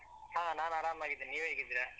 ಹಾ ನಾನ್ ಆರಾಮಾಗಿದ್ದೇನೆ. ನೀವ್ ಹೇಗಿದ್ದೀರಾ?